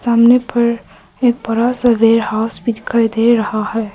सामने पर एक बड़ा सा वेयर हाउस भी दिखाई दे रहा है।